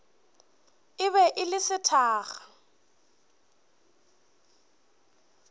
e be e le sethakga